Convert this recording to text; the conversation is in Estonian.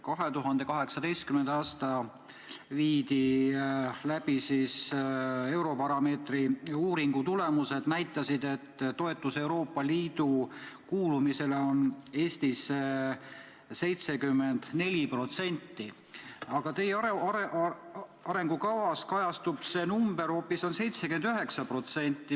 2018. aastal viidi läbi Eurobaromeetri uuring, mille tulemused näitasid, et toetus Euroopa Liitu kuulumisele on Eestis 74%, aga teie arengukavas on kirjas hoopis 79%.